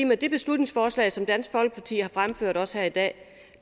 med det beslutningsforslag som dansk folkeparti har fremsat også her i dag